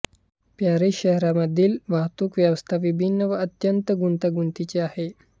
Paris शहरामधील वाहतूक व्यवस्था विभिन्न व अत्यंत गुंतागुंतीची आहे